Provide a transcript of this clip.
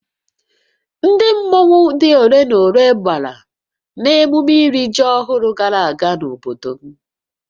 Ndị mmọnwu dị ole na ole gbàrà n'ememme iri ji ọhụrụ gara aga n'obodo m